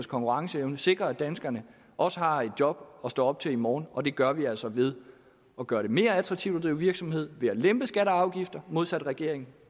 konkurrenceevne sikrer at danskerne også har et job at stå op til i morgen og det gør vi altså ved at gøre det mere attraktivt at drive virksomhed ved at lempe skatter og afgifter modsat regeringen